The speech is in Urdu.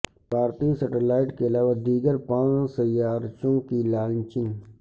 بھارتی سیٹلائٹ کے علاوہ دیگر پانچ سیارچوں کی لانچنگ